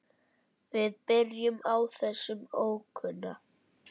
Við byrjum á þessum ókunna.